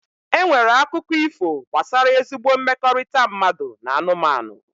E nwere akụkọ ifo gbasara ezigbo mmekọrịta mmadụ na anụmanụ.